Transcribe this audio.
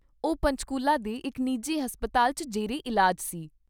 ਉਹ ਪੰਚਕੂਲਾ ਦੇ ਇਕ ਨਿਜੀ ਹਸਪਤਾਲ 'ਚ ਜੇਰੇ ਇਲਾਜ ਸੀ।